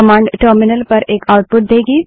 command terminal पर एक output देगी